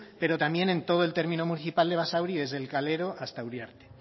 pero también en todo el término municipal de basauri desde el calero hasta uriarte